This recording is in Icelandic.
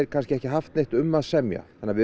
kannski ekki haft neitt um að semja þannig að við